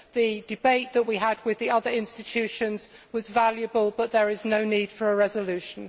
The debate that we had with the other institutions was valuable, but there is no need for a resolution.